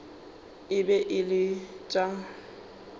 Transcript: e be e le tša